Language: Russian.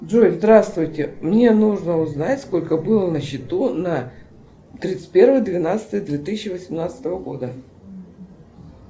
джой здравствуйте мне нужно узнать сколько было на счету на тридцать первое двенадцатое две тысячи восемнадцатого года